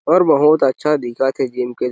और बहुत अच्छा दिखत है जिन--